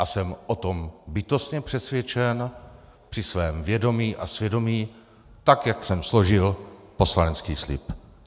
A jsem o tom bytostně přesvědčen při svém vědomí a svědomí tak, jak jsem složil poslanecký slib.